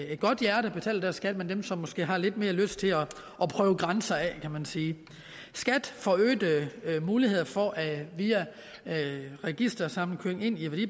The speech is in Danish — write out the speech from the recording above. et godt hjerte betaler deres skat men som måske har lidt mere lyst til at prøve grænser af kan man sige skat får øgede muligheder for via registersamkøring